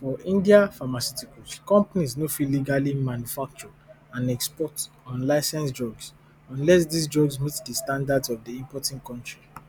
for india pharmaceutical companies no fit legally manufacture and export unlicensed drugs unless dis drugs meet di standards of di importing country